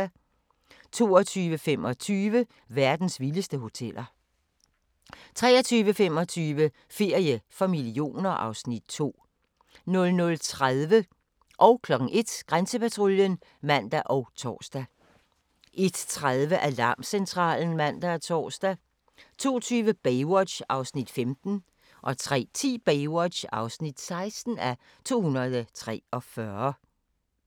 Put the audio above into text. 22:25: Verdens vildeste hoteller 23:25: Ferie for millioner (Afs. 2) 00:30: Grænsepatruljen (man og tor) 01:00: Grænsepatruljen (man og tor) 01:30: Alarmcentralen (man og tor) 02:20: Baywatch (15:243) 03:10: Baywatch (16:243)